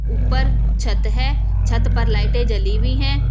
ऊपर छत है छत पर लाइटें जली हुई हैं।